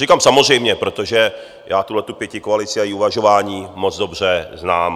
Říkám samozřejmě, protože já tuhle pětikoalici a její uvažování moc dobře znám.